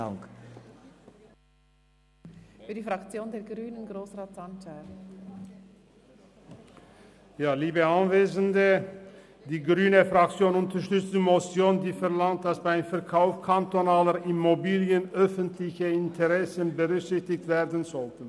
Die grüne Fraktion unterstützt die Motion, die verlangt, dass beim Verkauf kantonaler Immobilien öffentliche Interessen berücksichtigt werden sollten.